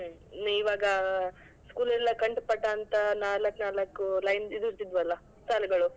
ಹ್ಮ್ ಹ್ಮ್ ಇವಾಗ school ಅಲ್ಲಿ ಕಂಠಪಾಠ ಅಂತ ನಾಲ್ಕ್ ನಾಲ್ಕು lines ಇದು ಇದ್ವಲ್ಲಾ ಸಾಲುಗಳು.